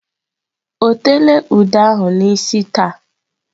O teela ude ahụ n'isi taa?